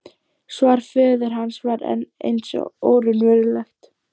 Svar föður hans var enn eins og óraunverulegt.